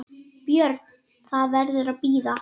BJÖRN: Það verður að bíða.